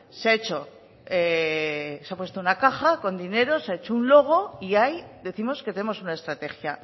se ha puesto una caja con dinero se ha hecho un logo y ahí décimos que tenemos una estrategia